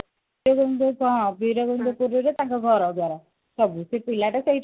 କଣ ବିରଗୋବିନ୍ଦ ପୁରୁରେ ତାଙ୍କ ଘର ଦ୍ଵାର ସବୁ ସେ ପିଲାଟା ସେଇଠି